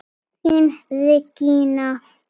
Þín Regína Unnur.